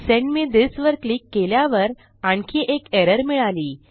send me this वर click केल्यावर आणखी एक एरर मिळाली